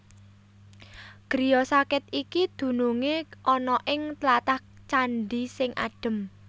Griya sakit iki dunungé ana ing tlatah Candhi sing adhem